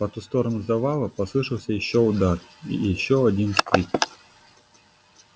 по ту сторону завала послышался ещё удар ещё один вскрик